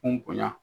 Kun bonya